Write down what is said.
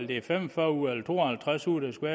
det er fem og fyrre uger eller to og halvtreds uger der skal